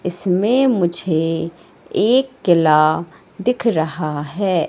इसमें मुझे एक किला दिख रहा है।